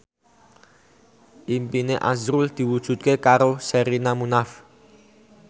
impine azrul diwujudke karo Sherina Munaf